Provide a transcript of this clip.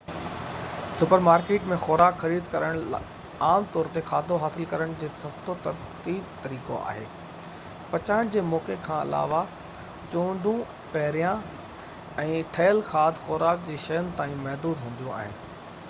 super market ۾ خوراڪ خريد ڪرڻ عام طور تي کاڌو حاصل ڪرڻ جو سستو تريب طريقو آهي پچائڻ جي موقعي کان علاوه چونڊون پهريان-ٺهيل کاڌ خوراڪ جي شين تائين محدود هونديون آهن